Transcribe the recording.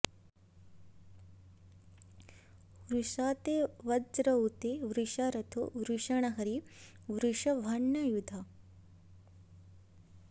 वृषा॑ ते॒ वज्र॑ उ॒त ते॒ वृषा॒ रथो॒ वृष॑णा॒ हरी॑ वृष॒भाण्यायु॑धा